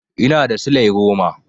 Ina da silai goma.